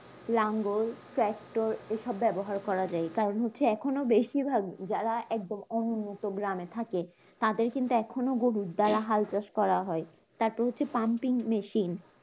লাঙ্গল tractor হিসাবে ব্যবহার করা যায় কারণ হচ্ছে এখনো বেশিভাগ যারা একদম অনুন্নত গ্রামে থাকে তাদের কিন্তু এখনও গরু তোরা হাল চাষ করা হয়, তাদের যে pumping machine